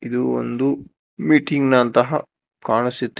ಇದು ಒಂದು ಮೀಟಿಂಗ್ ನಂತಹ ಕಾಣಿಸ್ತಿ--